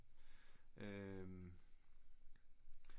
Øh